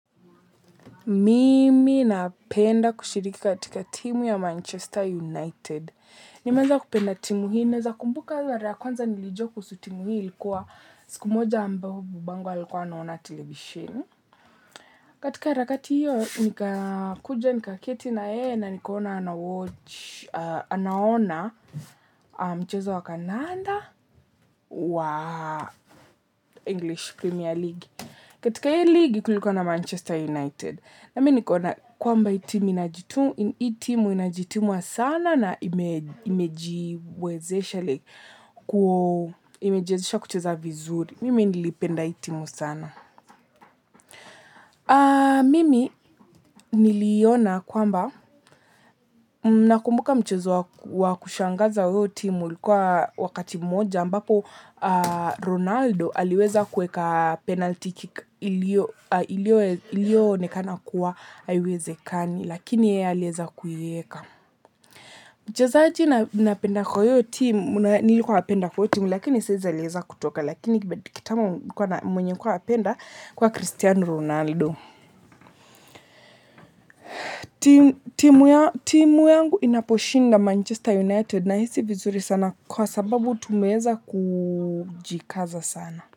Mimi napenda kushiriki katika timu ya Manchester United. Nimalenza kupenda timu hii na za kumbuka za mara kwanza nilijua kuhusu timu hii ilikuwa siku moja ambao babangu alikuwa anaona televishini. Katika harakati hiyo nikakuja nikaketi na yeye na nikaona ana watch anaona mchezo wa kandanda wa English Premier league, katika hii league kulikuwa na Manchester United na mimi nikaona kwamba hii timu inajituma sana na imejiwezesha like kucheza vizuri. Mimi nilipenda hii timu sana. Mimi niliona kwamba nakumbuka mchezo wa kushangaza wa huyo timu ulikuwa wakati mmoja ambapo Ronaldo aliweza kueka penalty kick ilionekana kuwa haiwezekani lakini yeye aliweza kuieka. Mchezaji ninapenda kwa hiyo timu nilikuwa napenda portmore lakini saa hizi alieza kutoka lakini mwenye kitambo nilikuwa napenda alikuwa Cristiano Ronaldo. Timu yangu inaposhinda Manchester United na hisi vizuri sana kwa sababu tumeweza kujikaza sana.